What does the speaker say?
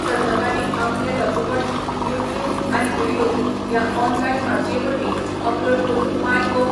सर्तकांनी आपले लघुपट YouTube आनी व्हिडियो ह्या ऑनलायन माचये वरवीं अपलोड करून माय गोव.